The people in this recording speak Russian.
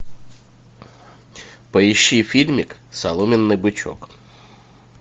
поищи фильмик соломенный бычок